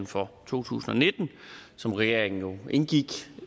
for to tusind og nitten som regeringen indgik